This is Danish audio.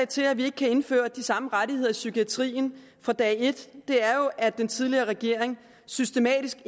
til at vi kan indføre de samme rettigheder i psykiatrien fra dag et er jo at den tidligere regering systematisk